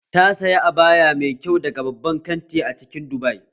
Ta saya abaya mai kyau daga babban kanti a cikin Dubai